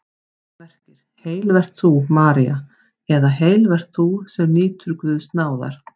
Það merkir: Heil vert þú, María eða Heil vert þú, sem nýtur náðar Guðs.